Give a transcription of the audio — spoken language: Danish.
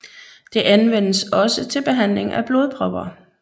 Det anvendes også til behandling af blodpropper